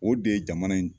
O de ye jamana in